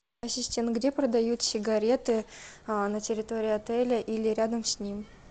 ассистент где продают сигареты на территории отеля или рядом с ним